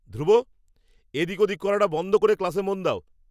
ধ্রুব, এদিক ওদিক করাটা বন্ধ করে ক্লাসে মন দাও!